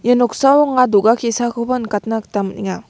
ia noksao anga do·ga ke·sakoba nikatna gita man·enga.